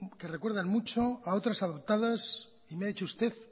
que recuerdan mucho a otras adoptadas y me ha dicho usted